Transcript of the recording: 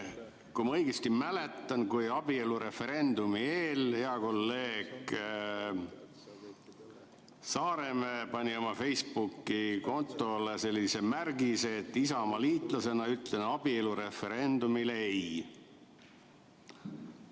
Kui ma õigesti mäletan, siis abielureferendumi eel hea kolleeg Saaremäe pani oma Facebooki kontole märgise "Isamaalasena ütlen referendumile EI".